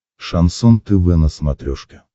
шансон тв на смотрешке